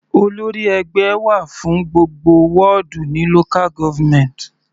Olórí ẹgbẹ́ wà fún gbogbo wọ́dù ní local government.